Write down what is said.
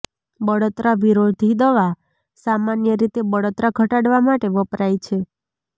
બળતરા વિરોધી દવા સામાન્ય રીતે બળતરા ઘટાડવા માટે વપરાય છે